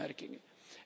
Nog twee opmerkingen.